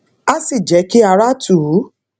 á sì jé kí ara tù ú